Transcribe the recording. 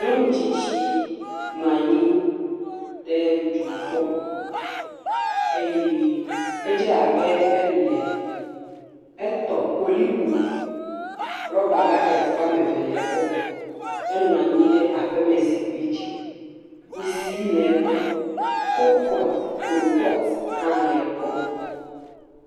Nyɔnu tsitsi nɔ anyi ɖe dzo gbɔ eye edze abe elee, etɔ koliko rɔba bakɛt woame eve le egbɔ. Enɔ anyi ɖe aƒemezikpui dzi, kusi le egbɔ, kolpɔt, krupɔt hã le egbɔ.